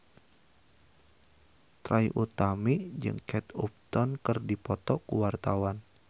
Trie Utami jeung Kate Upton keur dipoto ku wartawan